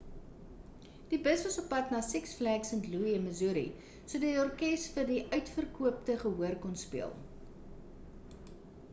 die bus was oppad na six flags st louis in missouri sodat orkes vir die uitverkoopte gehoor kon speel